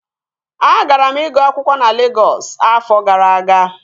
Agara m ịgụ akwụkwọ na Legọs afọ gara aga